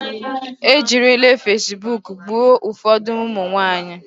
E jirile fasibuuku gbuo ụfọdụ ụmụ nwaanyị.